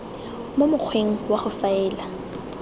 mo mokgweng wa go faela